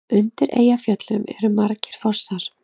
Undir Eyjafjöllum eru margir fossar.